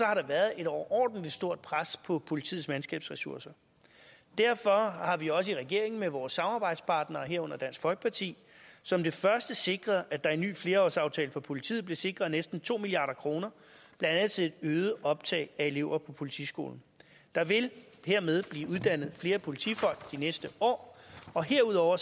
har der været et overordentlig stort pres på politiets mandskabsressourcer derfor har vi også i regeringen med vores samarbejdspartnere herunder dansk folkeparti som det første sikret at der i en ny flerårsaftale for politiet blev sikret næsten to milliard kr blandt andet til et øget optag af elever på politiskolen der vil hermed blive uddannet flere politifolk de næste år og herudover